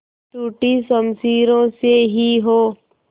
टूटी शमशीरों से ही हो